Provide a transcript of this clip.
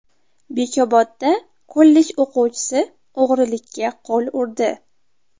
Bekobodda kollej o‘quvchisi o‘g‘rilikka qo‘l urdi.